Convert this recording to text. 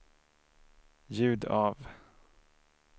ljud av